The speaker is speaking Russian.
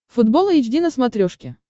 футбол эйч ди на смотрешке